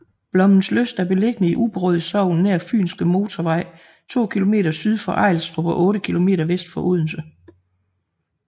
Blommenslyst er beliggende i Ubberud Sogn nær Fynske Motorvej to kilometer syd for Ejlstrup og otte kilometer vest for Odense